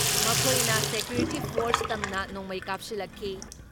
ꯃꯈꯣꯏꯅ security force ꯇꯝꯅ ꯅꯣꯡꯃꯩ ꯀꯥꯞꯁꯤꯜꯂꯛꯈꯤ ꯫